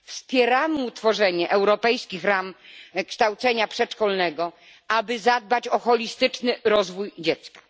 Wspieramy ustanowienie europejskich ram kształcenia przedszkolnego, aby zadbać o holistyczny rozwój dziecka.